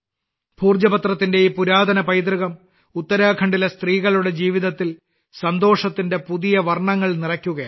ഭോജ പത്രത്തിന്റെ ഈ പുരാതന പൈതൃകം ഉത്തരാഖണ്ഡിലെ സ്ത്രീകളുടെ ജീവിതത്തിൽ സന്തോഷത്തിന്റെ പുതിയ പുതിയ വർണ്ണങ്ങൾ നിറയ്ക്കുകയാണ്